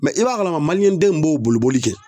i b'a kalama den min b'o boli boli kɛ